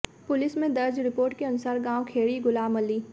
police में दर्ज report के अनुसार गांव खेड़ी गुलामअली